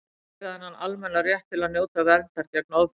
allir eiga þennan almenna rétt til að njóta verndar gegn ofbeldi